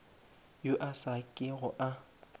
yo a sa kego a